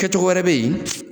Kɛ cogo wɛrɛ be yen